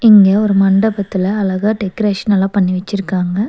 இங்க ஒரு மண்டபத்துல அழகா டெக்கரேஷன் எல்லா பண்ணி வச்சிருக்காங்க.